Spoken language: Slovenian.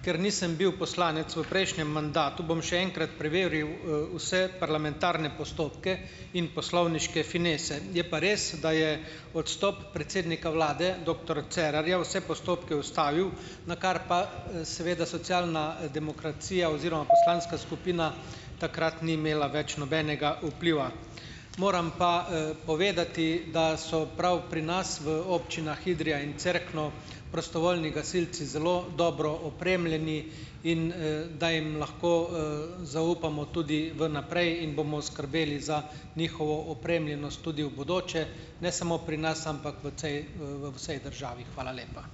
ker nisem bil poslanec v prejšnjem mandatu, bom še enkrat preveril, vse parlamentarne postopke in poslovniške finese. Je pa res, da je odstop predsednika vlade doktor Cerarja vse postopke ustavil, na kar pa, seveda socialna demokracija oziroma poslanska skupina takrat ni imela več nobenega vpliva. Moram pa, povedati, da so prav pri nas v občinah Idrija in Cerkno prostovoljni gasilci zelo dobro opremljeni in, da jim lahko, zaupamo tudi vnaprej in bomo skrbeli za njihovo opremljenost tudi v bodoče, ne samo pri nas, ampak v v, v vsej državi. Hvala lepa.